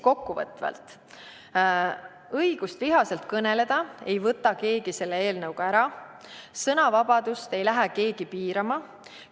Kokkuvõtvalt öeldes, õigust vihaselt kõneleda ei võta selle eelnõuga keegi ära, sõnavabadust ei lähe keegi piirama.